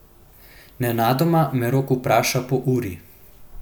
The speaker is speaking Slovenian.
Nenadoma me Rok vpraša po uri.